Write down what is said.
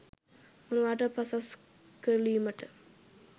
මොනවට පසස් කරලීමට